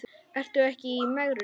Ertu ekki í megrun?